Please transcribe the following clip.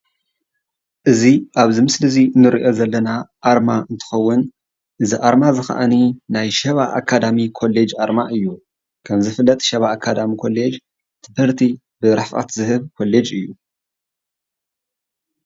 እዚ ኣብዚ ምስሊ እዙይ እንሪኦ ዘለና ኣርማ እትኸውን እዚ ኣርማ እዚ ከዓኒ ናይ ሸባ አርማ አካዳሚክ ኮለጅ ኣርማ እዩ። ከም ዝፍለጥ ሸባ አካዳሚክ ኮለጅ ትምህርቲ ብርሕቀት ዝህብ ኮሌጅ እዩ።